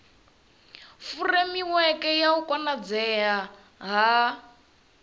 furemiweke ya u konadzea ha